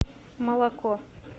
молоко